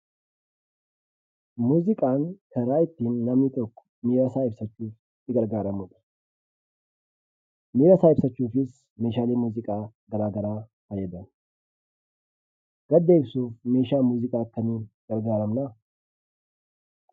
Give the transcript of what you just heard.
Muuziqaan karaa ittiin namni tokko miirasaa ibsachuuf itti gargaaramudha. Miirasaa ibsachuufis meeshaalee muuziqaa garaa garaa fayyadama. Gadda ibsuuf meeshaa muuziqaa kamiin gargaaramnaa?